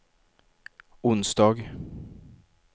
onsdag